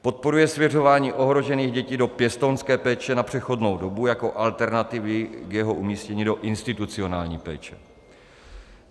Podporuje svěřování ohrožených dětí do pěstounské péče na přechodnou dobu jako alternativy k jeho umístění do institucionální péče.